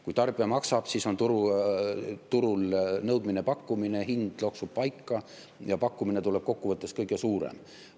Kui tarbija maksab, siis on turul nõudmine-pakkumine ja hind loksub paika ja pakkumine tuleb kokkuvõttes kõige suurem.